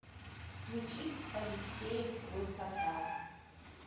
включить алексеев высота